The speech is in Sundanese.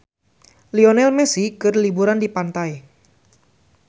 Lionel Messi keur liburan di pantai